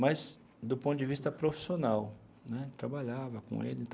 Mas, do ponto de vista profissional né, trabalhava com eles.